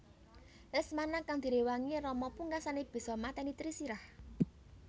Lesmana kang diréwangi Rama pungkasané bisa matèni Trisirah